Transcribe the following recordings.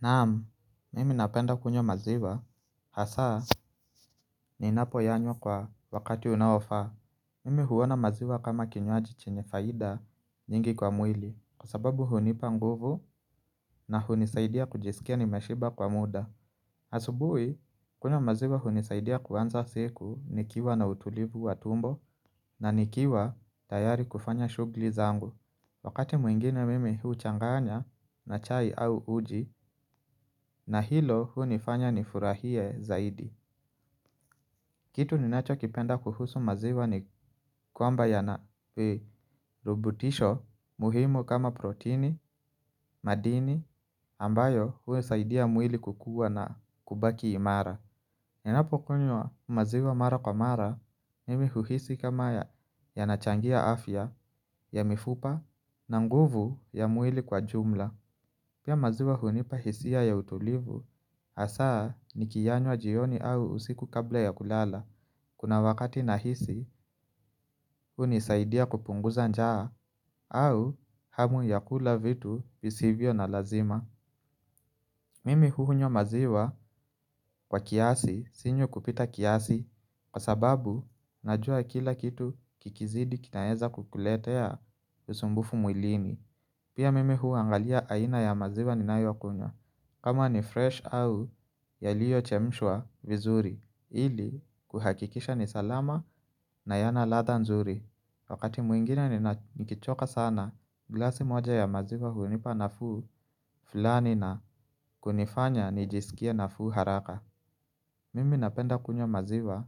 Naam, mimi napenda kunywa maziwa, hasaa ni napoyanywa kwa wakati unaofaa. Mimi huona maziwa kama kinywaji chenye faida nyingi kwa mwili kwa sababu hunipa nguvu na hunisaidia kujisikia nimeshiba kwa muda asubuhi, kunywa maziwa hunisaidia kuanza siku nikiwa na utulivu wa tumbo na nikiwa tayari kufanya shughuli zangu. Wakati mwingine mimi huchanganya na chai au uji na hilo hunifanya ni furahie zaidi. Kitu ninacho kipenda kuhusu maziwa ni kwamba yana rubutisho muhimu kama protini, madini ambayo hunisaidia mwili kukua na kubaki imara. Ninapo kunywa maziwa mara kwa mara mimi huhisi kama yana changia afya ya mifupa na nguvu ya mwili kwa jumla. Pia maziwa hunipa hisia ya utulivu, hasaa nikiyanywa jioni au usiku kabla ya kulala, kuna wakati nahisi hunisaidia kupunguza njaa, au hamu ya kula vitu visivyo na lazima. Mimi hunywa maziwa kwa kiasi, sinywi kupita kiasi, kwa sababu najua kila kitu kikizidi kinaweza kukuletea usumbufu mwilini. Pia mimi huangalia aina ya maziwa ni ninayo kunywa. Kama ni freshi au yaliyo chemshwa vizuri, ili kuhakikisha ni salama na yana ladha nzuri. Wakati mwingine nina nikichoka sana, glasi moja ya maziwa hunipa nafuu fulani na kunifanya nijisikie nafuu haraka. Mimi napenda kunywa maziwa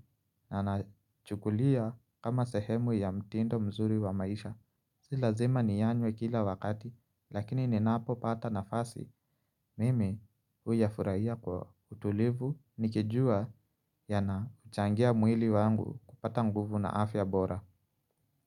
na nachukulia kama sehemu ya mtindo mzuri wa maisha. Sii lazima niyanwe kila wakati, lakini ninapo pata nafasi. Mimi huya furahia kwa utulivu nikijua yana changia mwili wangu kupata nguvu na afya bora.